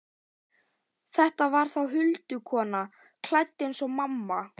Þetta var þá huldukona, klædd eins og mamma.